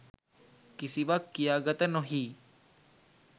කිසිවක් කියාගත නොහී